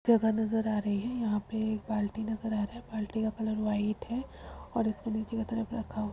जगह नज़र आ रही है यहाँ पे एक बाल्टी नज़र आ रहा है बाल्टी का कलर वाइट है और इसको नीचे के तरफ रखा --